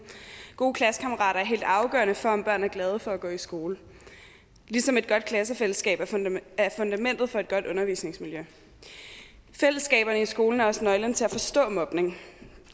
gode klassekammerater er helt afgørende for om børn er glade for at gå i skole ligesom et godt klassefællesskab er fundamentet for et godt undervisningsmiljø fællesskaberne i skolen er også nøglen til at forstå mobning